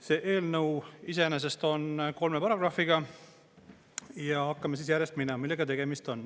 See eelnõu iseenesest on kolme paragrahviga ja hakkame järjest minema, millega tegemist on.